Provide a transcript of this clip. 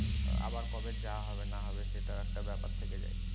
আবার কবে যাওয়া হবে না হবে সেটা একটা ব্যাপার থেকে যায়।